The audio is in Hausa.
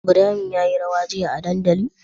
Ibrahim ya yi rawa jiya a dandali?